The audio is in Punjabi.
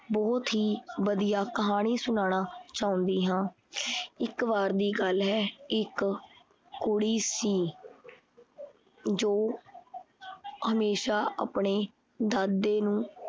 ਬਹੁਤ ਹੀ ਵਧੀਆ ਕਹਾਣੀ ਸੁਨਾਣਾ ਚਾਹੁੰਦੀ ਹਾਂ। ਇਕ ਵਾਰ ਦੀ ਗੱਲ ਹੈ ਇੱਕ ਕੁੜੀ ਸੀ ਜੋ ਹਮੇਸ਼ਾ ਆਪਣੇ ਦਾਦੇ ਨੂੰ